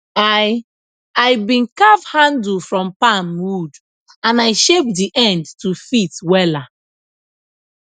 i i been carve handle from palm wood and i shape d end to fit wela